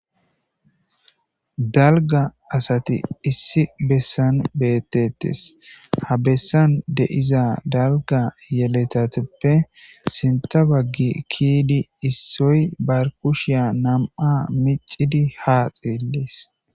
Dalga asati issi bessan beettetes ha bessan deiza dalga yeletateppe sintha baggi kiidi issoy bar kushiya nam7a micidi haaxeelees